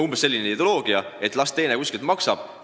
Umbes selline ideoloogia: las teine kuskilt maksab.